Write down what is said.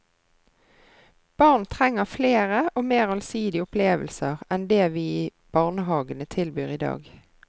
Barn trenger flere og mer allsidige opplevelser enn det vi i barnehagene tilbyr i dag.